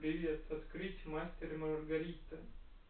привет открыть мастер и маргарита